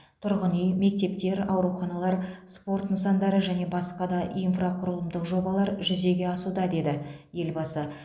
тұрғын үй мектептер ауруханалар спорт нысандары және басқа да инфрақұрылымдық жобалар жүзеге асуда деді елбасы